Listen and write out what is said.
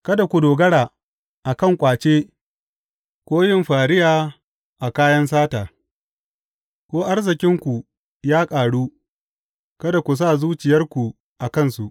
Kada ku dogara a kan ƙwace ko yin fariya a kayan sata; ko arzikinku ya ƙaru, kada ku sa zuciyarku a kansu.